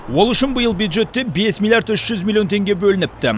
ол үшін биыл бюджеттен бес миллиард үш жүз миллион теңге бөлініпті